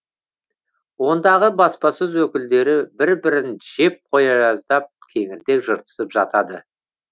ондағы баспасөз өкілдері бір бірін жеп қоя жаздап кеңірдек жыртысып жатады